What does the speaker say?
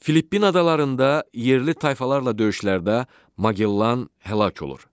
Filippin adalarında yerli tayfalarla döyüşlərdə Magellan həlak olur.